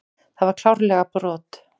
Það var klárlega brot.